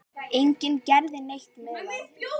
Enginn gerði neitt með það.